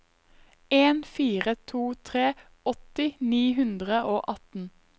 en fire to tre åtti ni hundre og atten